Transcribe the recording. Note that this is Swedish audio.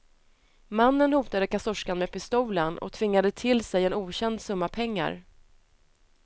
Mannen hotade kassörskan med pistolen och tvingade till sig en okänd summa pengar.